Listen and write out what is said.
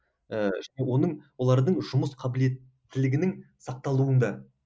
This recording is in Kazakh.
ііі оның олардың жұмыс қабілеттілігінің сақталуында